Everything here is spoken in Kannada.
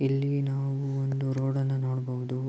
ಇಲ್ಲಿ ನಾವು ಒಂದು ರೋಡ್ ನ್ನು ನೋಡಬಹುದು.